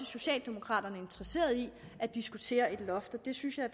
socialdemokraterne i interesserede i at diskutere et loft og jeg synes da